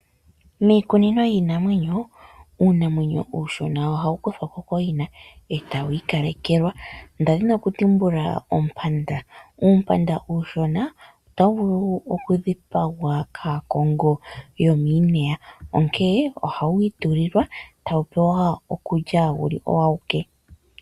Miikunino yiinamwenyo, uunamwenyo uushona ohawu kuthwako koo yina eta wu ikalekelwa ndadhina oku tumbula ompanda. Uumpanda uushona otawu vulu woo oku dhipagwa kaakongo yomii neya, onkee ohawu itulilwa tawu pewa okulya wuli owaawuke.